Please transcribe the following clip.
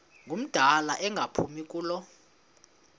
ngumdala engaphumi kulo